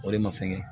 O de ma fɛngɛ